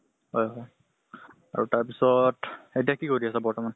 হয় হয় আৰু তাৰ পিছত, এতিয়া কি কৰি আছা বৰ্তমান?